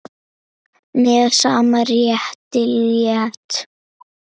Með sama rétti lét